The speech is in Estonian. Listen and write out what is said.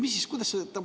Või mis?